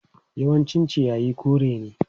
Yawancin ciyayi kore ne.